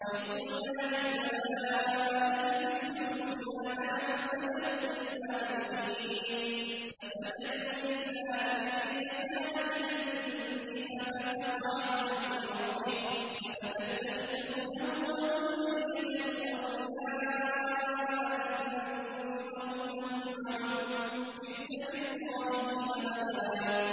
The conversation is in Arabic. وَإِذْ قُلْنَا لِلْمَلَائِكَةِ اسْجُدُوا لِآدَمَ فَسَجَدُوا إِلَّا إِبْلِيسَ كَانَ مِنَ الْجِنِّ فَفَسَقَ عَنْ أَمْرِ رَبِّهِ ۗ أَفَتَتَّخِذُونَهُ وَذُرِّيَّتَهُ أَوْلِيَاءَ مِن دُونِي وَهُمْ لَكُمْ عَدُوٌّ ۚ بِئْسَ لِلظَّالِمِينَ بَدَلًا